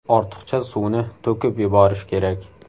Ortiqcha suvni to‘kib yuborish kerak.